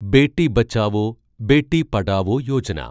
Beti Bachao, Beti Padhao Yojana